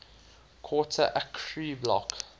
quarter acre block